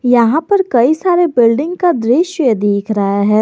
यहां पर कई सारे बिल्डिंग का दृश्य दिख रहा है।